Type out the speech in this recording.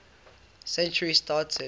century started